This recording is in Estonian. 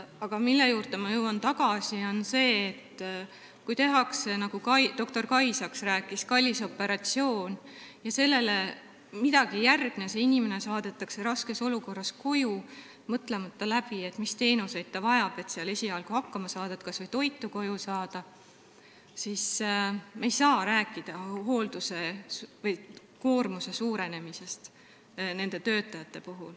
Aga ma jõuan tagasi selle juurde, et kui tehakse, nagu doktor Kai Saks rääkis, kallis operatsioon ja sellele midagi ei järgne, inimene saadetakse raskes olukorras koju, mõtlemata läbi, mis teenuseid ta vajab, et seal esialgu hakkama saada, kuidas ta kodus kas või toitu kätte saab, siis me ei saa rääkida nende töötajate koormuse suurenemisest.